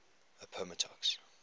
appomattox